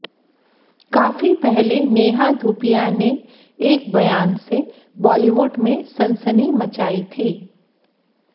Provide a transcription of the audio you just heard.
काफी पहले नेहा धूपिया ने एक बयान से बॉलीवुड में सनसनी मचाई थी